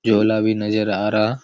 झोला भी नज़र आ रहा--